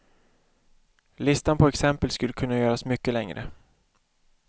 Listan på exempel skulle kunna göras mycket längre.